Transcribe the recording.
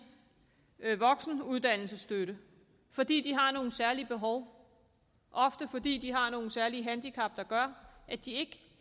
voksenuddannelsesstøtte fordi de har nogle særlige behov ofte fordi de har nogle særlige handicap der gør at de ikke